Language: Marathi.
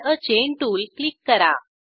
add a chain tool click करा